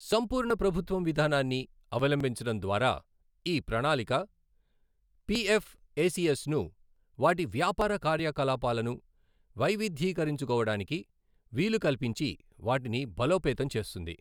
సంపూర్ణ ప్రభుత్వం విధానాన్ని అవలంబించడం ద్వారా, ఈ ప్రణాళిక పిఎఫ్ఎసిఎస్ ను వాటి వ్యాపార కార్యకలాపాలను వైవిధ్యీకరించుకోవడానికి వీలు కల్పించి వాటిని బలోపేతం చేస్తుంది.